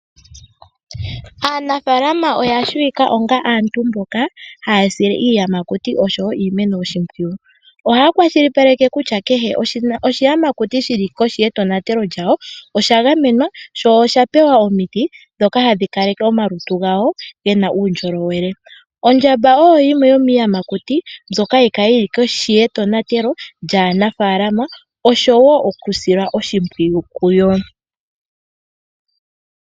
Aanafalama oyashiwika onga aantu mboka hayasile iiyamakuti oshowo iimeno oshimpwiyu. Ohaya kwashilipaleke kutya keshe oshiyamakuti shili koshi yetonatelo lyawo oshagamenwa, sho oshapewa omiti dhoka hadhikaleke omalutu gawo gena uundjolowele. Ondjamba oyoyimwe yomiiyamakutu mbyoka hayikala yili koshi yetonatelo lyaanafalama osho woo okusila oshimpwiyu kuyo.